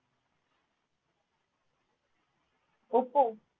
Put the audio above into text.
Oppo